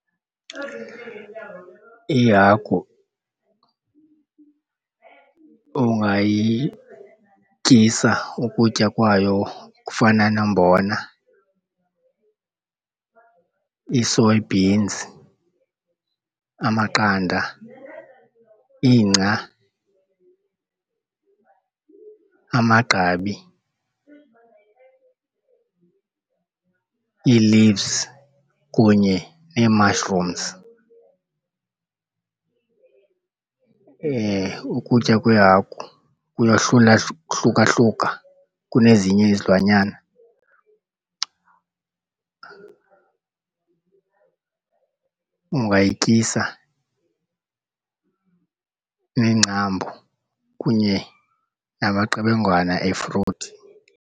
Ihagu ungayityisa ukutya kwayo okufana nombona, ii-soybeans, amaqanda, ingca, amagqabi, ii-leaves kunye nee-mushrooms. Ukutya kweehagu hlukahluka kunezinye izilwanyana, ungayityisa neengcambu kunye namaqebengwana efruthi.